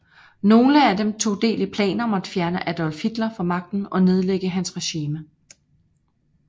Nogle af dem tog del i planer om at fjerne Adolf Hitler fra magten og nedlægge hans regime